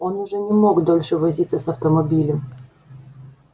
он уже не мог дольше возиться с автомобилем